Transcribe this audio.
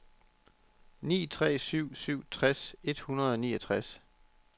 ni tre syv syv tres et hundrede og niogtres